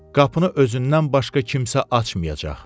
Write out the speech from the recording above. Qapını özündən başqa kimsə açmayacaq.